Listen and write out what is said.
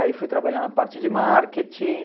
Aí fui trabalhar na parte de marketing.